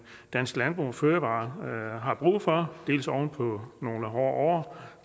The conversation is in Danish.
dansk landbrug og fødevarer har brug for dels oven på nogle hårde